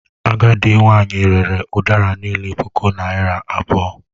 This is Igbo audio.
Agadị nwanyị rere udara niile puku naira abụọ.